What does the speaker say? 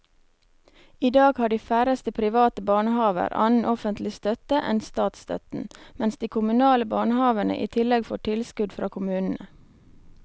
I dag har de færreste private barnehaver annen offentlig støtte enn statsstøtten, mens de kommunale barnehavene i tillegg får tilskudd fra kommunene.